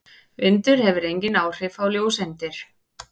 Vindur hefur engin áhrif á ljóseindir.